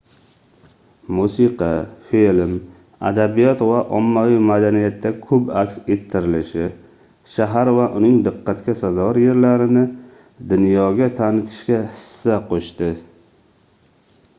musiqa film adabiyot va ommaviy madaniyatda koʻp aks ettirilishi shahar va uning diqqatga sazovor yerlarini dunyoga tanitishga hissa qoʻshdi